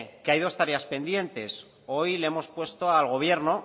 que hay dos tareas pendientes hoy le hemos puesto al gobierno